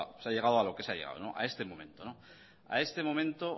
se ha llegado a lo que se ha llegado a este momento a este momento